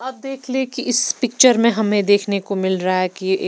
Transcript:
आप देख ले कि इस पिक्चर में हमें देखने को मिल रहा है कि ए--